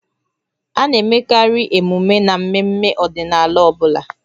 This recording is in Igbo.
A na-emekarị emume n'ememme ọdịnala ọ bụla